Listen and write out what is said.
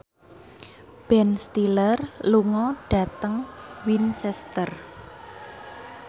Ben Stiller lunga dhateng Winchester